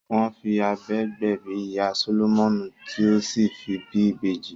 Wọ́n fi abẹ gbẹ̀bí ìyá Sólómọ́nì tí ó sì fi bí ibeji